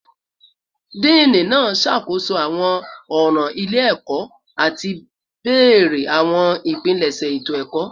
Dean naa ṣakoso awọn ọran ile-ẹkọ ati bẹrẹ awọn ipilẹṣẹ eto-ẹkọ